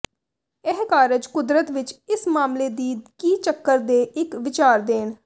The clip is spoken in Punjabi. ਇਹ ਕਾਰਜ ਕੁਦਰਤ ਵਿਚ ਇਸ ਮਾਮਲੇ ਦੀ ਕੀ ਚੱਕਰ ਦੇ ਇੱਕ ਵਿਚਾਰ ਦੇਣ